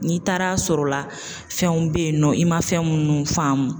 N'i taara sɔr'o la fɛnw be yen nɔ i ma fɛn minnu faamu